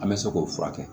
An bɛ se k'o furakɛ